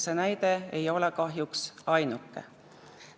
See näide ei ole kahjuks ainuke.